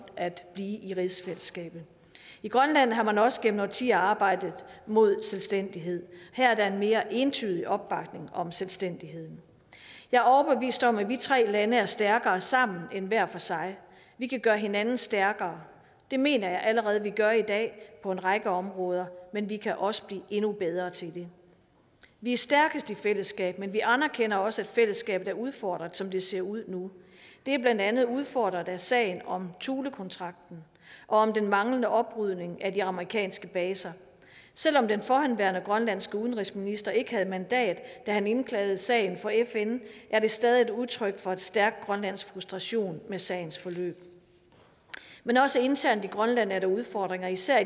at blive i rigsfællesskabet i grønland har man også gennem årtier arbejdet mod selvstændighed her er der en mere entydig opbakning om selvstændigheden jeg er overbevist om at vi tre lande er stærkere sammen end hver for sig vi kan gøre hinanden stærkere det mener jeg allerede vi gør i dag på en række områder men vi kan også blive endnu bedre til det vi er stærkest i fællesskab men vi anerkender også at fællesskabet er udfordret som det ser ud nu det er blandt andet udfordret af sagen om thulekontrakten og om den manglende oprydning af de amerikanske baser selv om den forhenværende grønlandske udenrigsminister ikke havde mandat da han indklagede sagen for fn er det stadig et udtryk for en stærk grønlandsk frustration med sagens forløb men også internt i grønland er der udfordringer især